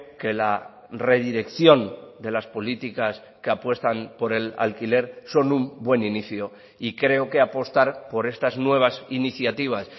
que la redirección de las políticas que apuestan por el alquiler son un buen inicio y creo que apostar por estas nuevas iniciativas